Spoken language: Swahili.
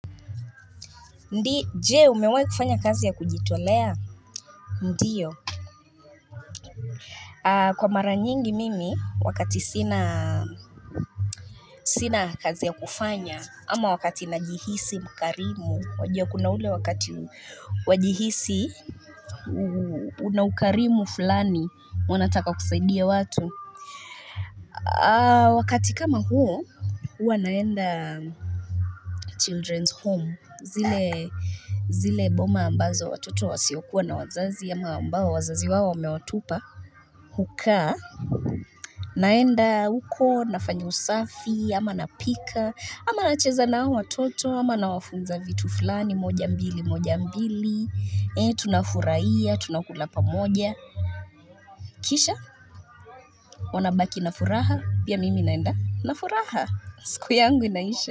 Je, umewahi kufanya kazi ya kujitolea ndio Kwa mara nyingi mimi wakati sina kazi ya kufanya ama wakati najihisi mkarimu wajua kuna ule wakati wajihisi Unaukarimu fulani unataka kusaidia watu Wakati kama huo huwa aenda children's home zile zile boma ambazo watoto wasiokuwa na wazazi ama ambao wazazi wao wamewatupa hukaa naenda huko nafanya usafi ama napika ama nacheza na hao watoto ama nawafunza vitu fulani moja mbili moja mbili ee tunafurahia tunakula pamoja Kisha wanabaki nafuraha pia mimi naenda nafuraha siku yangu inaisha.